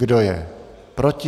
Kdo je proti?